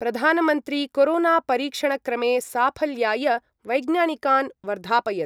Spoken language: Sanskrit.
प्रधानमन्त्री कोरोनापरीक्षणक्रमे साफल्याय वैज्ञानिकान् वर्धापयत्।